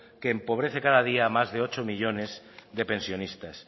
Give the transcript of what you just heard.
que empobrece cada día a más de ocho millónes de pensionistas